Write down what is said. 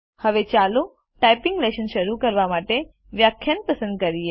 હવે ચાલો typing lesson શરૂ કરવા માટે વ્યાખ્યાન પસંદ કરીએ